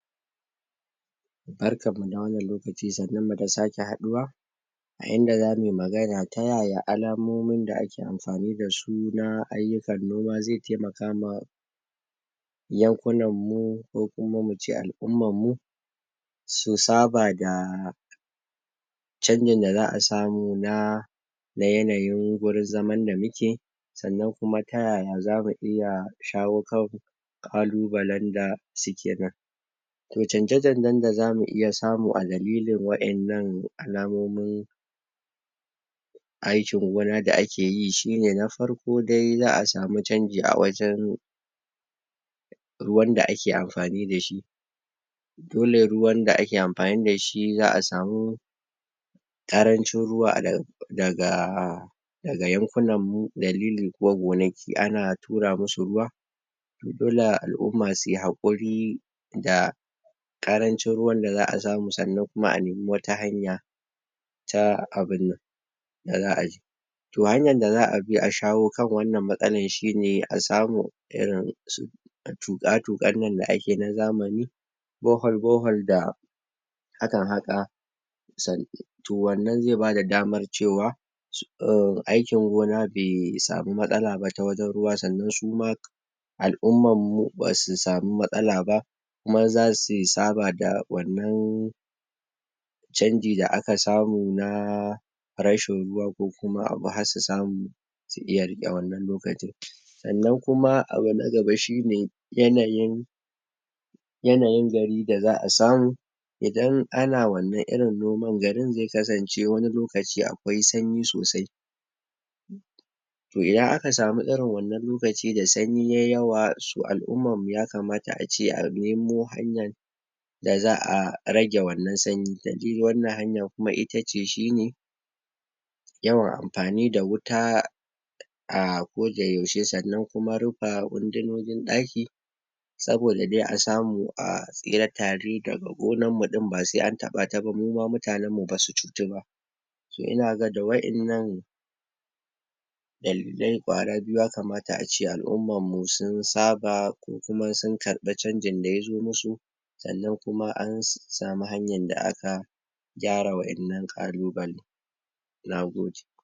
Barkan mu da wannan lokaci, sannun nu da sake haɗuwa. A inda zamuyi magana ta ya ya alamomin da ake amfani da su na ayyukan noma zai taimaka ma yankunan mu ko kuma mu ce al'umman mu su saba da chanjin da za'a samu na na yanayin wurin zaman da muke, sannan kuma ta yaya za mu iya shawo kan ƙalubalen da su ke To chanje-chanjen da zamu iya samu a dalilin waɗannan alamomin aikin gona da ake yi shine na farko dai za a samu chanji a wajen ruwan da ake amfani da shi dole ruwan da ake amfani da shi za a samu ƙarancin ruwa daga daga yankunan mu dalili kuwa gonaki ana tura musu ruwa dole al'umma su yi hakuri da ƙarancin ruwan da za a samusannan kuma a nemi wata hanya ta abinnan. Da za a To hanyan da za a bi a shawo kan wannan matsalan shi ne a samu irin su tuƙa-tuƙan nan da ake na zamani, bohol bohol da da a kan haƙa to wannan zai bada damar cewa [um aikin gona bai samu matsala ba ta wajen ruwa sannan su ma al'umman mu su ma basu samu matsala ba kuma za su saba da wannan chanji da aka samu na rashin ruwa ko kuma abu har su samu su iya riƙe wannan lokacin. Sannan kuma abu na gaba shine yanayin yanayin gari da za a samu idan ana wannan irin noman garin zai kasance wani lokaci akwai sanyi sosai to idan samu irin wannan lokaci da sanyi yayi yawa to al'umman mu ya kamata ace a nemo hanyan da za a rage wannan sanyi da de wannan hanyan kuma ita ce shine yawan amfani da wuta a ko da yaushe. Sannan kuma rufe wundunan ɗaki saboda dai a samu a tsira tare daga gonan mu din ba sai an taɓa ta ba mu ma mutanen mu basu cutu ba. To inaga da waɗannan dalilai kwara biyu ya kamata a ce al'umman mu sun saba ko kuma sun karbi chanjin da ya zo musu sannan kuma an samu hanyan da aka gyara waɗannan kalubale. Na gode.